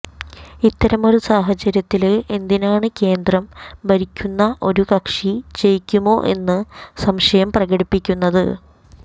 ഇത്തരമൊരു സാഹചര്യത്തില് എന്തിനാണ് കേന്ദ്രം ഭരിക്കുന്ന ഒരു കക്ഷി ജയിക്കുമോ എന്ന് സംശയം പ്രകടിപ്പിക്കുന്നത്